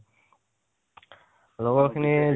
লগৰ খিনি